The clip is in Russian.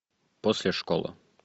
после школы